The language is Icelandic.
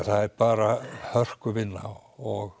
það er bara hörkuvinna og